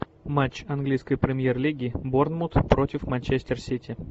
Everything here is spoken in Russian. матч английской премьер лиги борнмут против манчестер сити